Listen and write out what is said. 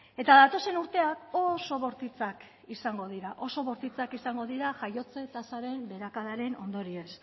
eta datozen urteak oso bortitzak izango dira oso bortitzak izango dira jaiotze tasaren beherakadaren ondorioz